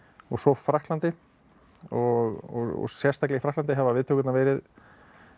og svo Frakklandi og sérstaklega í Frakklandi hafa viðtökurnar verið